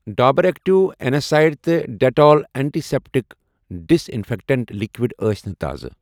Dabur active اٮ۪نٛایسِڈ تہٕ Dettol antiseptic disinfectant liquid ٲس نہٕ تازٕ۔